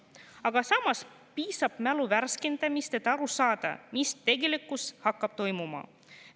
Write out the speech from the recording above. Aga samas piisab mälu värskendamisest, et aru saada, mis tegelikkuses hakkab toimuma.